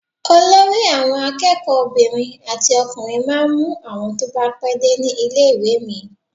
Olórí àwọn akẹ́kọ̀ọ́ obìnrin àti ọkùnrin máa ń mú àwọn tó bá pé dé ní ilé-ìwé mi.